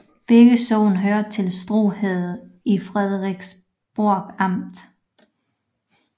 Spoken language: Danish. Begge sogne hørte til Strø Herred i Frederiksborg Amt